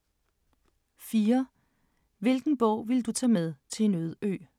4) Hvilken bog ville du tage med til en øde ø?